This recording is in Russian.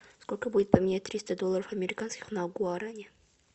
сколько будет поменять триста долларов американских на гуарани